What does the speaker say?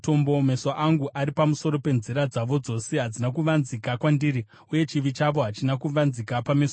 Meso angu ari pamusoro penzira dzavo dzose; hadzina kuvanzika kwandiri, uye chivi chavo hachina kuvanzika pameso angu.